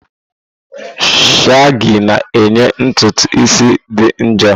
Shagi na-enye ntutu isi idị jụụ.